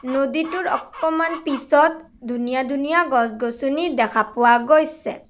নদীটোৰ অকমান পিছত ধুনীয়া ধুনীয়া গছ-গছনি দেখা পোৱা গৈছে।